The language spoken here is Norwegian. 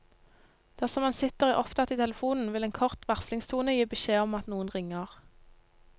Dersom man sitter opptatt i telefonen, vil en kort varslingstone gi beskjed om at noen ringer.